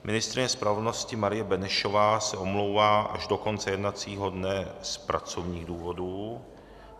Ministryně spravedlnosti Marie Benešová se omlouvá až do konce jednacího dne z pracovních důvodů.